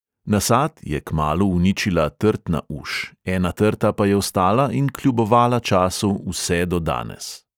Nasad je kmalu uničila trtna uš, ena trta pa je ostala in kljubovala času vse do danes.